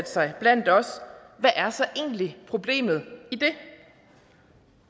sig blandt os hvad er så egentlig problemet i det